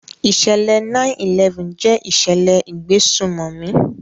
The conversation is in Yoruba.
ìsẹ̀lẹ̀ 9/11 jẹ́ ìṣẹ̀lẹ̀ ìgbésùmọ̀mì.